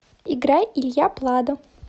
играй илья пладо